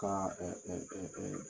Ka